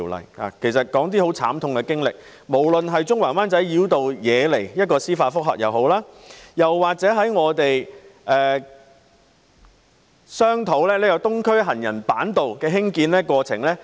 我想提述一些慘痛經歷，包括中環及灣仔繞道惹來的司法覆核，以及商討興建東區走廊行人板道的過程。